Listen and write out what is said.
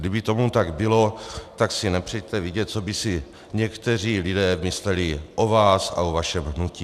Kdyby tomu tak bylo, tak si nepřejte vědět, co by si někteří lidé mysleli o vás a o vašem hnutí.